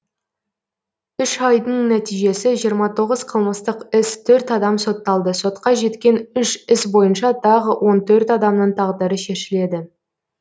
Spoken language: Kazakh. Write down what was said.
үш айдың нәтижесі жиырма тоғыз қылмыстық іс төрт адам сотталды сотқа жеткен үш іс бойынша тағы он төрт адамның тағдыры шешіледі